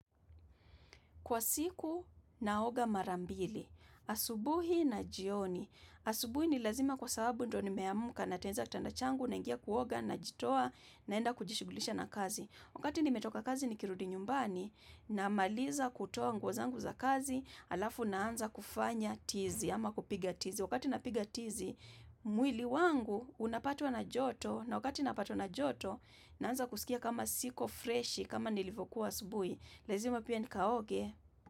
Kwa siku naoga mara mbili, asubuhi na jioni, asubuhi ni lazima kwa sababu ndo nimeamka natenza kitanda changu naingia kuoga najitoa naenda kujishugulisha na kazi. Wakati nimetoka kazi nikirudi nyumbani namaliza kutoa nguo zangu za kazi alafu naanza kufanya tizi ama kupiga tizi. Wakati napiga tizi, mwili wangu unapatwa na joto na wakati napatwa na joto naanza kusikia kama siko freshi kama nilivokuwa asubuhi. Lezima pia nikaoge.